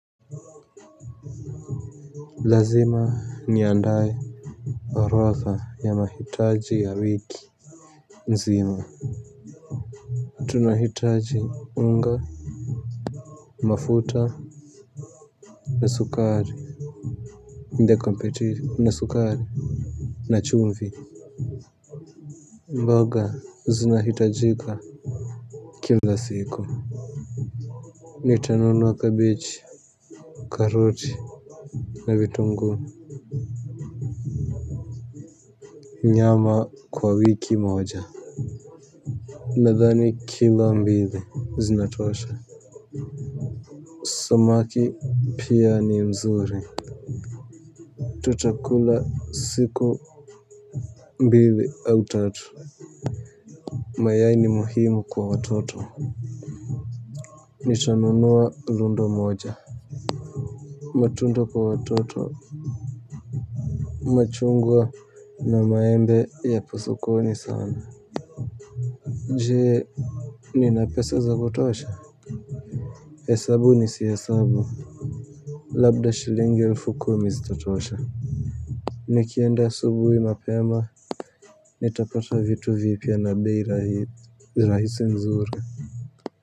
Lazima niandae orodha ya mahitaji ya wiki nzima. Tunahitaji unga, mafuta, na sukari na chumvi. Mboga, zinahitajika kila siku. Nitanunua kabeji, karoti na vitunguu. Nyama kwa wiki moja. Nadhani kilo mbili Zinatosha. Samaki pia ni nzuri. Tutakula siku mbili au tatu. Mayai ni muhimu kwa watoto. Nitanunua lundo moja. Matunda kwa watoto machungwa na maembe yapo sokoni sana. Jee nina pesa za kutosha hesabu nisihesabu. Labda shilingi elfu kumi zitatosha. Nikienda asubuhi mapema nitapata vitu vipya na bei rahi rahisi nzuri.